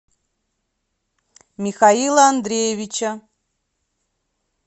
михаила андреевича